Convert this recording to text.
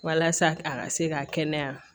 Walasa a ka se ka kɛnɛya